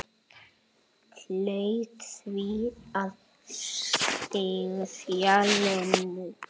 Hlaut því að styðja Lenu.